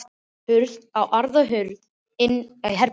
Hurð á aðra hönd inn í herbergið hans.